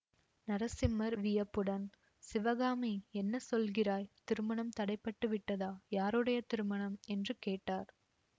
நரசிம்மர் வியப்புடன் சிவகாமி என்ன சொல்கிறாய் திருமணம் தடை பட்டு விட்டதா யாருடைய திருமணம் என்று கேட்டார்